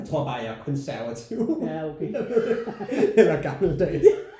Jeg tror bare at jeg er konservativ eller gammeldags